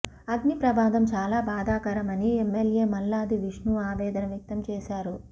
అగ్ని ప్రమాదం చాలా బాధాకరమని ఎమ్మెల్యే మల్లాది విష్ణు ఆవేదన వ్యక్తం చేశారు